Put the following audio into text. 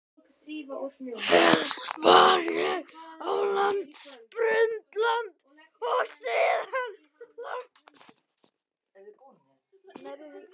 Fyrst var ég á Landspítalanum og síðan lengi á Vífilsstöðum.